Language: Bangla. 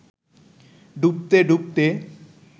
ডুবতে ডুবতে